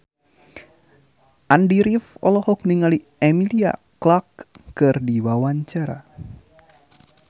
Andy rif olohok ningali Emilia Clarke keur diwawancara